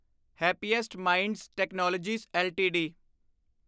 happiest Minds Technologies LTD